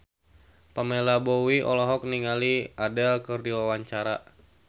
Pamela Bowie olohok ningali Adele keur diwawancara